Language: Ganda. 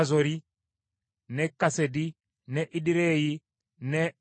ne Kasedi ne Ederei, ne Enkazoli,